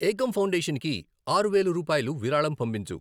Ekam foundation కి ఆరు వేలు రూపాయలు విరాళం పంపించు.